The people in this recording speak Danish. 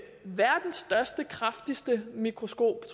verdens største kraftigste mikroskop